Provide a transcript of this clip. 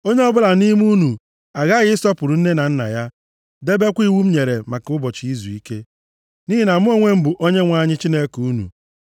“ ‘Onye ọbụla nʼime unu aghaghị ịsọpụrụ nne na nna ya, debekwa iwu m nyere maka ụbọchị izuike, nʼihi na mụ onwe m bụ Onyenwe anyị Chineke unu.